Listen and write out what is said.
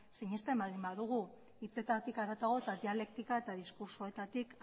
sinesten baldin badugu hitzetatik harago eta dialektika eta diskurtsoetatik